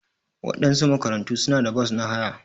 Waɗansu makarantu suna da bos na haya.